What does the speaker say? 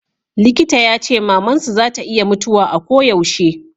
likita ya ce maman su za ta iya mutuwa a ko yaushe